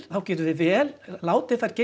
þá getum við vel látið þær